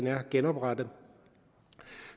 er genoprettet